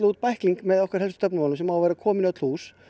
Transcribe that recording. út bækling með okkar helstu stefnumálum sem á að vera kominn í öll hús